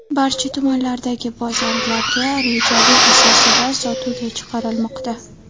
Barcha tumanlardagi bozorlarga rejali asosida sotuvga chiqarilmoqda.